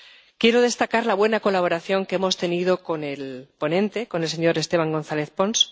Quiero destacar la buena colaboración que hemos tenido con el ponente, con el señor Esteban González Pons.